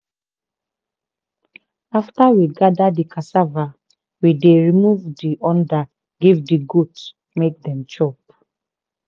after we gather di cassava we dey remove di under give di goats make dem chop.